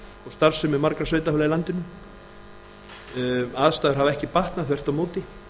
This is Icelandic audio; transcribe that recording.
starfsemi margra sveitarfélaga í landinu aðstæður hafa ekki batnað þvert á móti